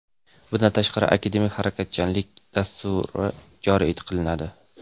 Bundan tashqari, "Akademik harakatchanlik" dasturi joriy qilinadi.